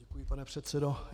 Děkuji, pane předsedo.